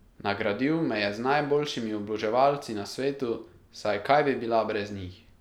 Nagradil me je z najboljšimi oboževalci na svetu, saj kaj bi bila brez njih?